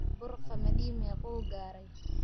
bur qamadi mequu garay